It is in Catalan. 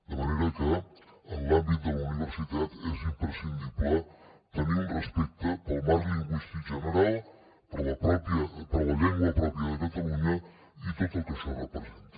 de manera que en l’àmbit de la universitat és imprescindible tenir un respecte pel marc lingüístic general per la llengua pròpia de catalunya i tot el que això representa